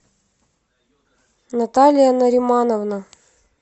наталья наримановна